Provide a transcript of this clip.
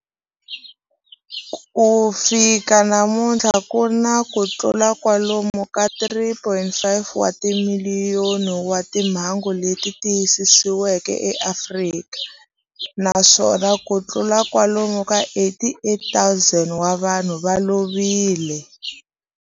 Ku fika namuntlha ku na kutlula kwalomu ka 3.5 wa timiliyoni wa timhangu leti tiyisisiweke eAfrika, naswona kutlula kwalomu ka 88,000 wa vanhu va lovile.